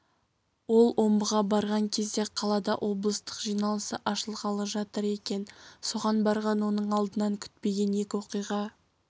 ол омбыға барған кезде қалада облыстық жиналысы ашылғалы жатыр екен соған барған оның алдынан күтпеген екі оқиға